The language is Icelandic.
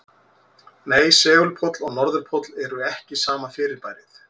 Nei, segulpóll og norðurpóll eru ekki sama fyrirbærið.